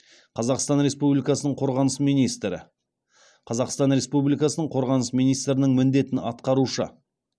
қазақстан республикасының қорғаныс министрі қазақстан республикасының қорғаныс министрінің міндетін атқарушы